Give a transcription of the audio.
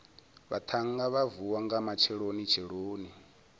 vhaṱhannga vha vuwa nga matshelonitsheloni